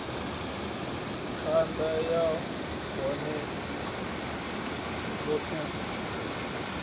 khada o vhofholowa mililani yanu